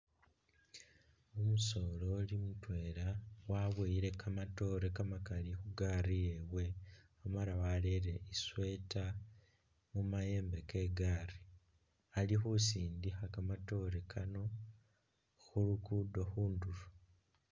Omusoleli mutwela waboyile kamatoore kamakaali khugali yewe Amala warere i'sweater khumayembe ke gali, alikhusindikha kamatoore Kano khulugudo khundulo